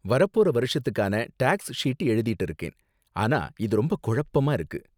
வரப்போற வருஷத்துக்கான tax sheet எழுதிட்டு இருக்கேன், ஆனா இது ரொம்ப குழப்பமா இருக்கு.